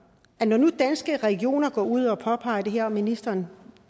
når nu danske regioner går ud og påpeger det her og ministeren